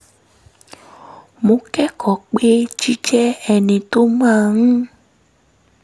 mo kẹ́kọ̀ọ́ pé jíjẹ́ ẹni tó máa ń